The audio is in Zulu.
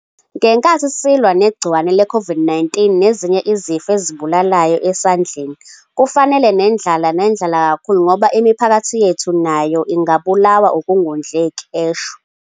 "Ngenkathi silwa negciwane le-Covid-19 nezinye izifo ezibulalayo esandleni kufanele nendlala nendlala kakhulu ngoba imiphakathi yethu nayo ingabulawa ukungondleki," esho